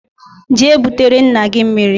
Jee butere nna gi mmiri!